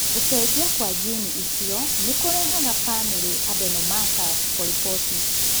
Gũcenjia kwa njiini ĩcio nĩ kũrehaga familia adenomatous polyposis.